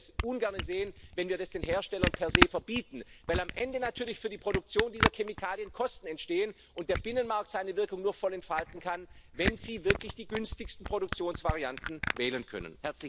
Und ich würde es ungern sehen, wenn wir das den Herstellern per se verbieten, weil am Ende natürlich für die Produktion dieser Chemikalien Kosten entstehen und der Binnenmarkt seine Wirkung nur voll entfalten kann, wenn sie wirklich die günstigsten Produktionsvarianten wählen können.